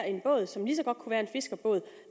en båd som lige så godt kunne være en fiskerbåd